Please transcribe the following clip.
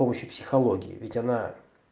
с помощью психологии ведь она